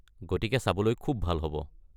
গতিকে চাবলৈ খুব ভাল হ’ব।